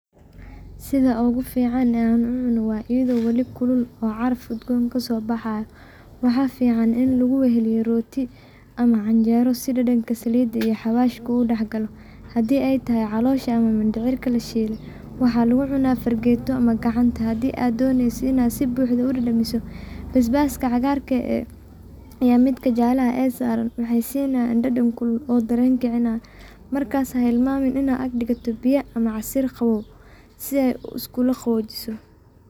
Sitha ugu fican oo u cuunoh wa idi wali kulul oo carfeysoh udgoon kasobaxayoh waxa fican ini laguwaheliyoh rooti amah canjeera si dadanga Salida aa carwash kugudaxgaloh handi artahay calsosha amah mandacirka lasheethay waxa lagucunoh fargeeto amah kacanta handi aa doneysoh ini sifican u dadamisoh basbaka cagarka ee midka saran waxasinaya dadan kulul dareenga kacinaya maskasa helmami Ina agdigatoh biya amah setha iskulaqawoojisoh.